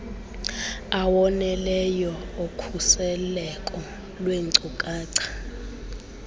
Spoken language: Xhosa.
awoneleyo okhuseleko lweenkcukacha